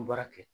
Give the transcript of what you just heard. Baara kɛ